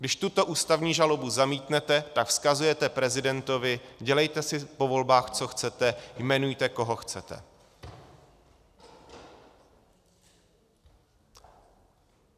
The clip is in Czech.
Když tuto ústavní žalobu zamítnete, tak vzkazujete prezidentovi: dělejte si po volbách, co chcete, jmenujte, koho chcete.